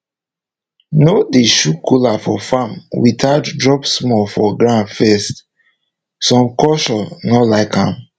no dey chew kola for farm without drop small for ground first some cultures no like am